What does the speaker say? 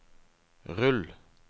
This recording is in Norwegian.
rull